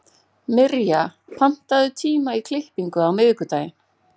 Mirja, pantaðu tíma í klippingu á miðvikudaginn.